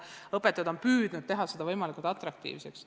Õpetajad on püüdnud teha selle võimalikult atraktiivseks.